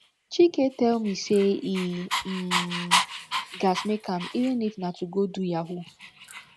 chike tell me say he um gats make am even if na to go do yahoo